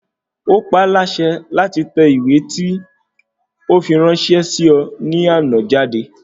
Ó pa ọ́ láṣẹ láti tẹ ìwé tí ó fi ráńṣẹ́ sí ọ ní àná jáde